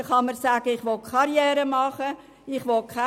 Man kann sich für die Karriere und gegen Kinder entscheiden.